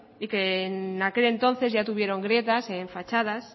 y que en aquel entonces ya tuvieron grietas en fachadas